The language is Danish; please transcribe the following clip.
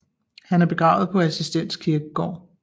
Han er begravet på Assistens Kirkegård